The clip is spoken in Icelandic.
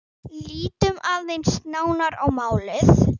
Lítum aðeins nánar á málið.